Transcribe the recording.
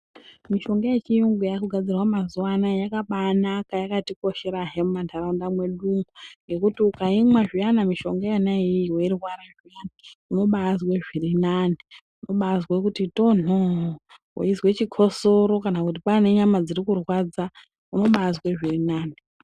Mishonga yechiyungu yaakugadzirwa mazuwa anaa yakabaanaka yakatikosherahe mumanharaunda mwedu umu ngekuti ukaimwa zviyana mishonga yona iyiyi weirwara unobaazwe zviri nani, unobaazwe kuti tonhoo. Wezwe chikosoro kana kuti kwaanenyama dziri kurwadza unobaazwe zvirinani.